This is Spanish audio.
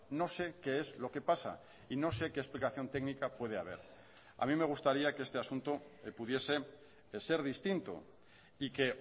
no sé qué es lo que pasa y no sé qué explicación técnica puede haber a mí me gustaría que este asunto pudiese ser distinto y que